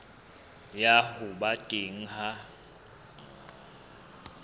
ya ho ba teng ha